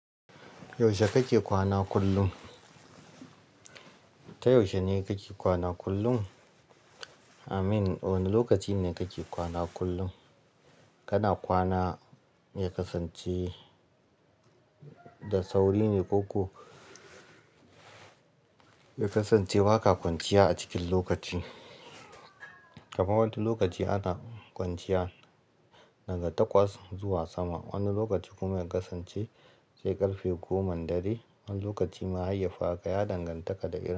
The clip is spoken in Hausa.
Yaushe kake kwana kullum? Ta yaushe ne kake kwana kullum? Amin, wane lokaci ne kake kwana kullum? Kana kwana mai kasance da sauri ne ko ku? Mai kasance ba ka kwanciya a cikin lokaci. Kaman wani lokaci ana kwanciya daga takwas zuwa sama. Wani lokaci kuma mai kasance sai ƙarfe goman dare. Wani lokaci mahayyar ka ya danganta da irin.